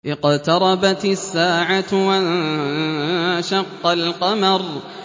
اقْتَرَبَتِ السَّاعَةُ وَانشَقَّ الْقَمَرُ